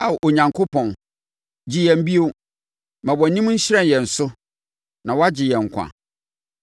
Ao Onyankopɔn, gye yɛn bio; ma wʼanim nhyerɛn yɛn so, na wɔagye yɛn nkwa.